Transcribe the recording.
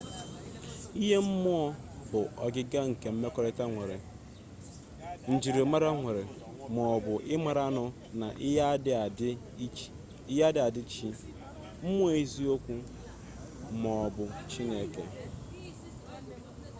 ihe mmụọ bụ ọgịga nke mmekọrịta nwere njirimara nwere maọbu ị mara nnụọ na ihe a dị adị chi mmụọ eziokwu maọbụ chineke